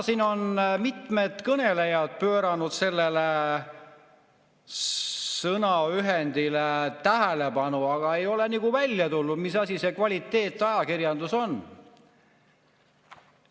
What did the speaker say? Täna on siin mitmed kõnelejad sellele sõnale tähelepanu pööranud, aga ei ole välja tulnud, mis asi see kvaliteetajakirjandus on.